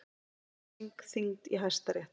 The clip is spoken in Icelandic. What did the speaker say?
Refsing þyngd í Hæstarétti